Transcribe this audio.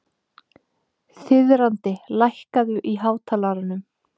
Þiðrandi, lækkaðu í hátalaranum.